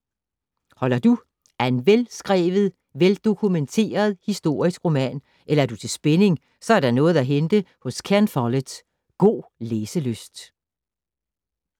Holder du af en veldokumenteret historisk roman eller er du til spænding, så er der noget at hente hos Ken Follett. God læselyst.